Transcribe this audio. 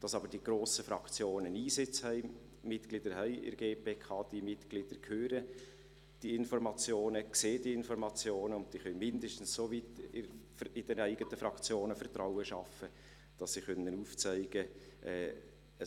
Dass aber die grossen Fraktionen Einsitz haben, Mitglieder in der GPK haben – diese Mitglieder hören die Informationen, sehen diese Informationen und sie können mindestens soweit in den eigenen Fraktionen Vertrauen schaffen, dass sie aufzeigen können: